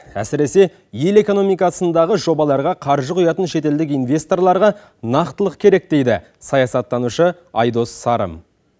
әсіресе ел экономикасындағы жобаларға қаржы құятын шетелдік инвесторларға нақтылық керек дейді саясаттанушы айдос сарым